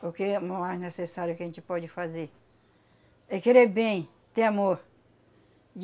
Porque o maior necessário que a gente pode fazer é querer bem, ter amor.